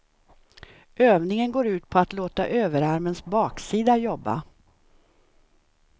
Övningen går ut på att låta överarmens baksida jobba.